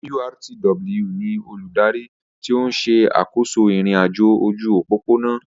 NURTW ni olùdarí tí ó ń ṣe àkóso ìrìn-àjò ojú òpópónà